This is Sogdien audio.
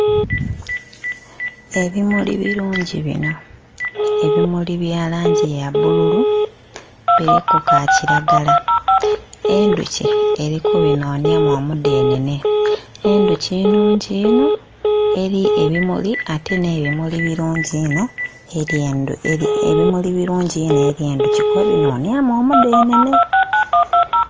Ebimuli birungi binho, ebimuli bya langi ya bbululu biriku ka kiragala endhoki eri ku binhonhyamu omudhenene, endhoki nnhungi inho eri ebimuli ate nhe endhoki nnhungi inho eri endhoki kuba binonyamu omudhenene.